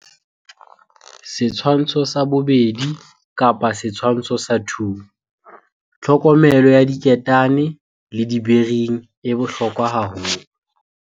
Setshwantsho sa 2. Tlhokomelo ya diketane le di-bearing e bohlokwa haholo.